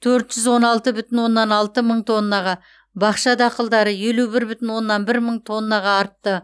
төрт жүз он алты бүтін оннан алты мың тоннаға бақша дақылдары елу бір бүтін оннан бір мың тоннаға артты